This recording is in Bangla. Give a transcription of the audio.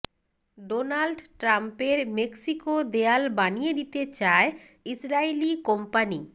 ডোনাল্ড ট্রাম্পের মেক্সিকো দেয়াল বানিয়ে দিতে চায় ইসরাইলি কোম্পানি